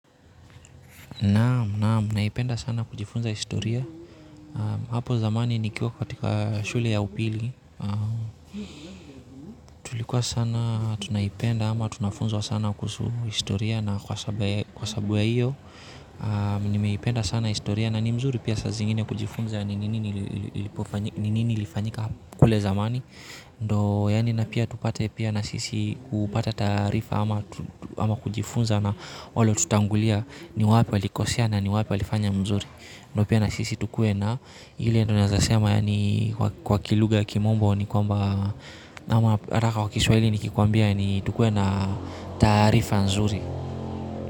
Naam naam naipenda sana kujifunza historia hapo zamani nikiwa katika shule ya upili tulikuwa sana tunaipenda ama tunafunzwa sana kuhusu historia na kwa sabu ya hiyo nimeipenda sana historia na ni mzuri pia saa zingine kujifunza ni nini ilifanyika kule zamani ndo yani napia tupate pia na sisi kupata taarifa ama ama kujifunza na walo tutangulia ni wapi walikosea na ni wapi walifanya mzuri ndio pia na sisi tukuwe na ile ndio nawezasema ni kwa kilugha ya kimombo ni kwamba ama raha kwa Kiswahili ni kikwambia ni tukuwe na taarifa nzuri.